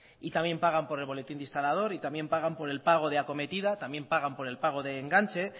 y también pagar por el boletín de instalador y también pagar por el pago de acometida también pagan por el pago de enganche